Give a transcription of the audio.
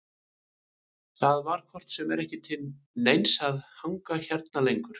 Það var hvort sem er ekki til neins að hanga hérna lengur.